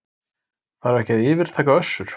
Þarf ekki að yfirtaka Össur